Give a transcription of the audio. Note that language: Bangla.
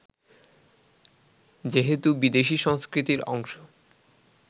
যেহেতু বিদেশি সংস্কৃতির অংশ